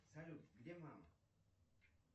салют где мама